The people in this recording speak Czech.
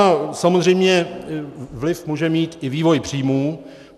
A samozřejmě vliv může mít i vývoj příjmů.